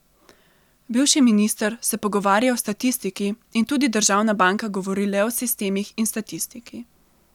Bivši minister se pogovarja o statistiki in tudi državna banka govori le o sistemih in statistiki.